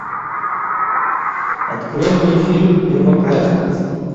открой мне фильм первоклассница